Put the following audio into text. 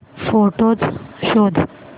photos शोध